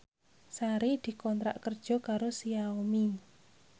Sari dikontrak kerja karo Xiaomi